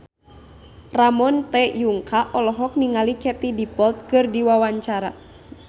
Ramon T. Yungka olohok ningali Katie Dippold keur diwawancara